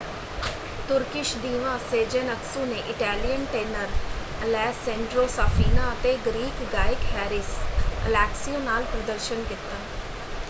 Turkish diva Sezen Aksu ਨੇ Italian tenor Alessandro Safina ਅਤੇ Greek ਗਾਇਕ ਹੈਰਿਸ ਅਲੈਕਸੀਓ ਨਾਲ ਪ੍ਰਦਰਸ਼ਨ ਕੀਤਾ।